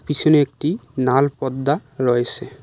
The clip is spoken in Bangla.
পিছনে একটি নাল পর্দা রয়েছে।